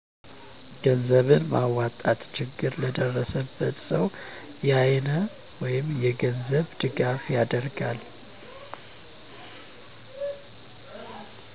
ገንዘብ በማዋጣት ችግር ለደረሰበት ሰዉ የአይነት ወይም የገንዘብ ድጋፍ ያደርጋል።